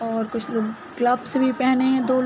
और कुछ लोग ग्लव्स भी पहने है दो लो--